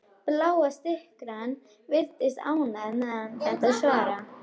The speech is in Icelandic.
Bláa skyrtan virðist ánægð með þetta svar.